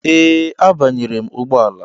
Ee, m banyere ụgbọ ala.